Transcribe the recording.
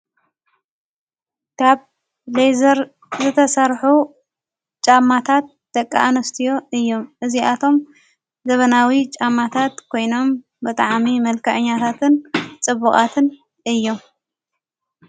ካብ ሌዘር ዘተሠርሑ ጫማታት ደቃ ኣንስትዮ እዮም እዚኣቶም ዘበናዊ ጫማታት ኮይኖም ብጥዓሚ መልካእኛታትን ጽቡቓትን እዮም።